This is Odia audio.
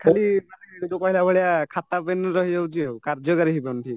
ଖାଲି ମାନେ ଯୋଉ କହିଲା ଭଳିଆ ଖାତାପେନ ରହିଯାଉଚିଆଉ କାର୍ଯ୍ୟକାରୀ ହେଇପାରୁନି